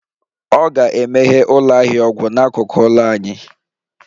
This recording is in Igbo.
Ọ ga-emeghe ụlọ ahịa ọgwụ n'akụkụ ụlọ anyị